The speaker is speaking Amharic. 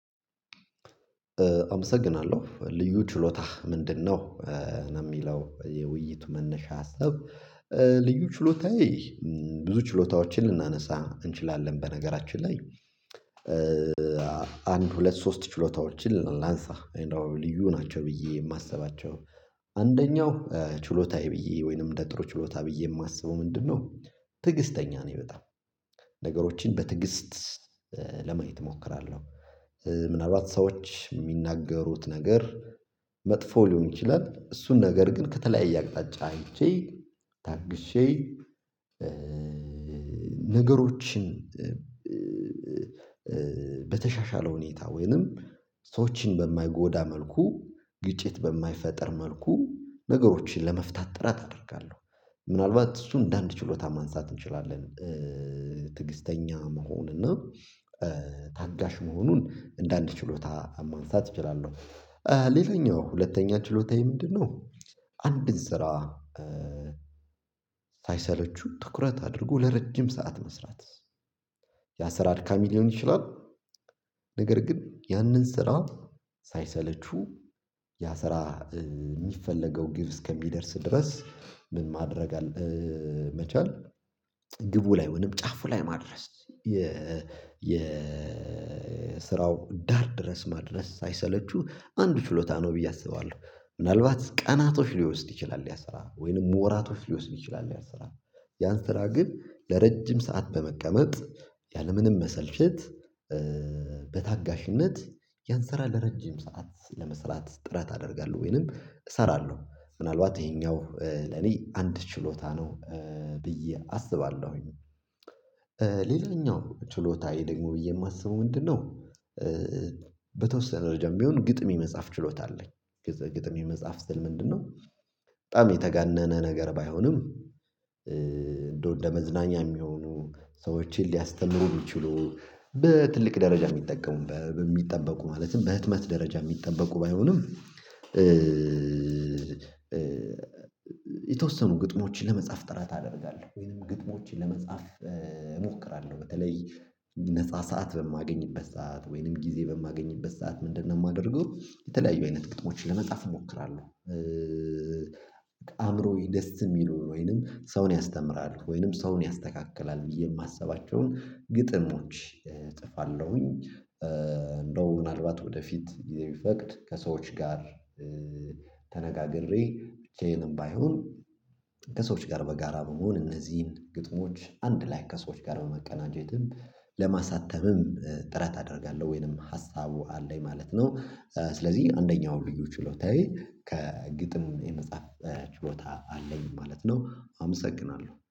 አመሰግናለሁ ልዩ ችሎታህ ምንድነው? የውሚለው የውይይቱ መነሻ ሀሳብ። ልዩ ችሎታዬ ብዙ ችሎታዎችን ልናነሳ እንችላለን በነገራችን ላይ። አንድ ሁለት ሶስት ችሎታዎችን ላንሳ። ልዩ ናቸው ብዬ የማስባቸው አንደኛው ችሎታዬ ብዬ ወይንም ደጥሮ ችሎታ ብዬ የማስበው ምንድነው? ትዕግስተኛ ነኝ በጣም ነገሮችን በትዕግስት ለማየት እሞክራለሁ። ምናልባት ሰዎች የሚናገሩት ነገር መጥፎ ሊሆን ይችላል እሱን ነገር ግን ከተለያየ አቅጣጫ አይቼ ታግሼ። ነገሮችን በተሻሻለ ሁኔታ ወይንም ሰዎችን በማይጎዳ መልኩ ግጭት በማይፈጥር መልኩ ነገሮችን ለመፍታት ጥረት አደርጋለሁ። ምናልባት እሱን እንደ አንድ ችሎታ ማንሳት እንችላለን። ትግስተኛ መሆን እና ታጋሽ መሆኑን እንደአንድ ችሎታ ማንሳት እችላለሁ። ሌላኛው ሁለተኛ ችሎታዬ ምንድንነው? አንድን ስራ ሳይሰለቹ ትኩረት አድርጎ ለረጅም ሰዓት መስራት። ያስራት አድካሚ ሊሆን ይችላል። ነገር ግን ያንን ስራ ሳይሰለቹ ያስራ የሚፈለገው ግብ እስከሚደርስ ድረስ ምን ማድረግ መቻል ግቡ ላይ ወይንም ጫፉ ላይ ማድረስ የ የ ስራውን ዳር ድረስ ማድረስ ሳይሰለቹ አንድ ችሎታ ነው ብዬ አስባለሁ። ምናልባት ቀናቶች ሊወስድ ይችላል ያስራ ወይንም ወራቶች ሊወስድ ይችላል ያን ስራ ያን ስራ ግን ለረጅም ሰዓት በመቀመጥ ያለምንም መሰልቸት በታጋሽነት ያንስራ ለረጅም ሰዓት ለመስራት ጥረት አደርጋለሁ ወይንም እሰራለሁ ምናልባት ይሄኛው ለኔ አንድ ችሎታ ነው። ብዬ አስባለሁኝ። ሌላኛው ችሎታዬ ደግሞ ብዬ የማስበው ምንድነው? በተወሰነ ደረጃም ቢሆን ግጥም የመጽሐፍ ችሎታ አለኝ። ግጥም የመጽሐፍ ስል ምንድነው? በጣም የተጋነነ ነገር ባይሆንም እንደው ለመዝናኛ የሚሆኑ ሰዎችን ሊያስተምሩ የሚችሉ በትልቅ ደረጃ የሚጠቀሙበት እሚጠበቁ ማለትም በህትመት ደረጃ የሚጠበቁ ባይሆንም። የተወሰኑ ግጥሞችን ለመጻፍ ጥረት አደርጋለሁ ወይንም ግጥሞችን ለመጻፍ እሞክራለሁ በተለይ ነፃ ሰዓት በማገኝበት ሰዓት ወይንም ጊዜ በማገኝበት ሰዓት ምንድነው የማደርገው የተለያዩ አይነት ቅጥሞችን ለመጻፍ እሞክራለሁ። አእምሮየ ደስ የሚለውን ወይንም ሰውን ያስተምራል ወይንም ሰውን ያስተካክላል ብዬ የማስባቸውን ግጥሞች እጽፋለሁኝ። እንደው ምናልባት ወደፊት ጊዜቢፈቅድ ከሰዎች ጋር ተነጋግሬ ብቻየንም ባይሆን ከሰዎች ጋር በጋራ በመሆን እነዚህን ግጥሞች አንድ ላይ ከሰዎች ጋር በመቀናጀትም ለማሳተምም ጥረት አደርጋለሁ። ወይንም ሀሳቡ አለኝ ማለት ነው። ስለዚህ አንደኛው ልዩ ችሎታዬ ከግጥም የመጽሐፍ ችሎታ አለኝ ማለት ነው። አመሰግናለሁ